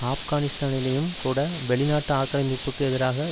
ஆப்கானிஸ்தானிலேயும் கூட வெளிநாட்டு ஆக்கிரமிப்புக்கு எதிராக